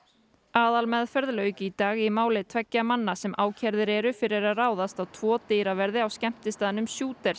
aðalmeðferð lauk í dag í máli tveggja manna sem ákærðir eru fyrir að ráðast á tvo dyraverði á skemmtistaðnum